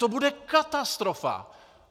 To bude katastrofa!